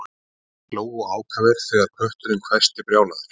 Þeir hlógu ákafir þegar kötturinn hvæsti brjálaður